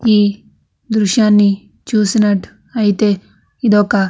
ఈ దృశ్యాన్ని చూసినటు అయితే ఇదొక --